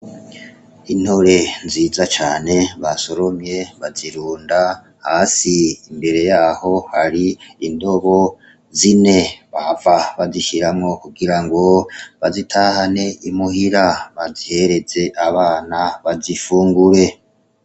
Intore nziza cane ba solomye bazirunda hasi imbere yaho hari indobo zine bava bazishiramwo kugira ngo bazitahane imuhira bazihereze abana bazifungure.